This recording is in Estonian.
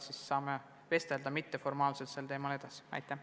Siis saame mitteformaalselt sel teemal edasi rääkida.